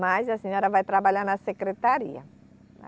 Mas a senhora vai trabalhar na secretaria.